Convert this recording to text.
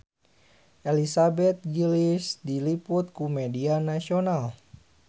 Elizabeth Gillies diliput ku media nasional